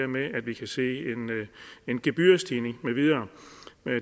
med at vi kan se en gebyrstigning med videre